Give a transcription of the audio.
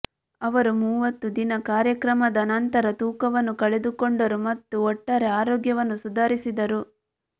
ಅವರು ಮೂವತ್ತು ದಿನ ಕಾರ್ಯಕ್ರಮದ ನಂತರ ತೂಕವನ್ನು ಕಳೆದುಕೊಂಡರು ಮತ್ತು ಒಟ್ಟಾರೆ ಆರೋಗ್ಯವನ್ನು ಸುಧಾರಿಸಿದರು